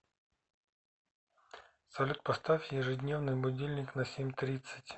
салют поставь ежедневный будильник на семь тридцать